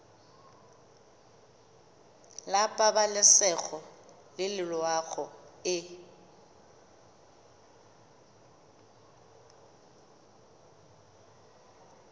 la pabalesego le loago e